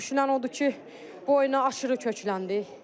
Düşünülən odur ki, bu oyuna aşırı kökləndik.